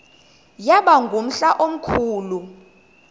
yaba ngumhla omkhulu